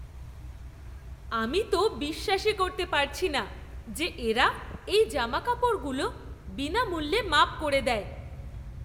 আমি তো বিশ্বাসই করতে পারছি না যে এরা এই জামাকাপড়গুলো বিনামূল্যে মাপ করে দেয়!